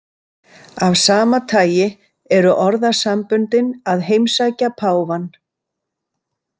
Af sama tagi eru orðasamböndin að heimsækja páfann.